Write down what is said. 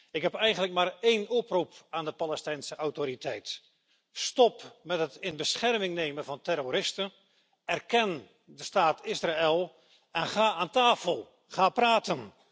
Ik heb eigenlijk maar een oproep aan de Palestijnse Autoriteit stop met het in bescherming nemen van terroristen, erken de staat Israël en ga rond de tafel zitten, ga praten.